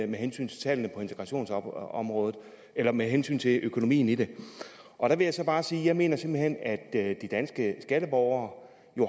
med hensyn til tallene på integrationsområdet eller med hensyn til økonomien i det og der vil jeg så bare sige jeg mener simpelt hen at de danske skatteborgere